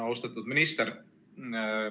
Austatud minister!